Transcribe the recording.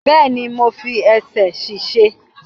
Bẹ́ẹ̀ni, mo fi ẹsẹ̀ ṣèṣe